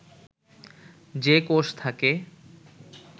যে কোষ থাকে